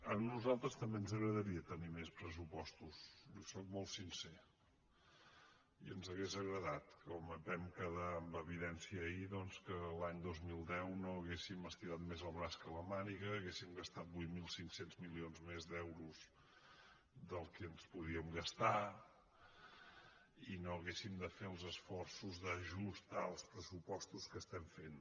a nosaltres també ens agra·daria tenir més pressupostos li sóc molt sincer i ens hauria agradat com vam quedar en evidència ahir doncs que l’any dos mil deu no haguéssim estirat més el braç que la màniga haguéssim gastat vuit mil cinc cents milions més d’euros del que ens podíem gastar i no haguéssim de fer els esforços d’ajust als pressupostos que estem fent